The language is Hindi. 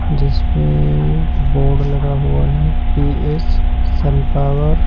जिस पेएएए बोर्ड लगा हुआ है पी_एस सन पावर --